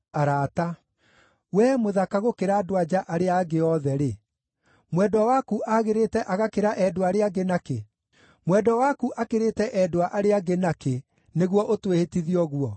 Wee mũthaka gũkĩra andũ-a-nja arĩa angĩ othe-rĩ, mwendwa waku aagĩrĩte agakĩra endwa arĩa angĩ na kĩ? Mwendwa waku akĩrĩte endwa arĩa angĩ nakĩ, nĩguo ũtwĩhĩtithie ũguo?